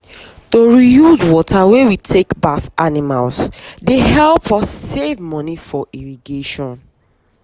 to reuse water wey we take baff animals dey help us save money for irrigation.